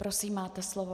Prosím, máte slovo.